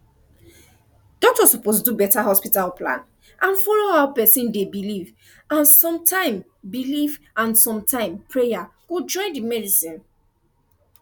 doctor suppose do better hospital plan and follow how person dey believe and sometime believe and sometime prayer go join the medicine